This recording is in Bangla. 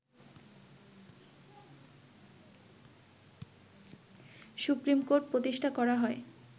সুপ্রীমকোর্ট প্রতিষ্ঠা করা হয়